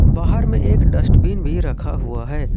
बाहर में एक डस्टबिन भी रखा हुआ है।